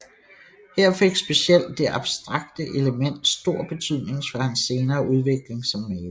Her fik specielt det abstrakte element stor betydning for hans senere udvikling som maler